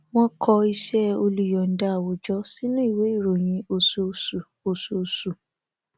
wọn kọ iṣẹ olùyòǹda áwùjọ sínú ìwé ìròyìn oṣooṣu oṣooṣu